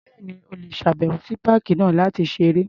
Bẹ́ẹ̀ni. O lè ṣàbẹ̀wò sí páàkì náà láti ṣeré.